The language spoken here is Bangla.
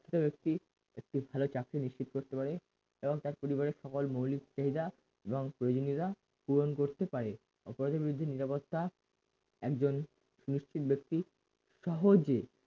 শিক্ষিত ব্যক্তি একটি ভাল চাকরি নিশ্চিত করতে পারে এবং তার পরিবারের সকল মৌলিক চাহিদা এবং প্রয়োজনীয়তা পূরণ করতে পারে অপরাধী ভিত্তিক নিরাপত্তা একজন সুনিশ্চিত ব্যক্তি সহজে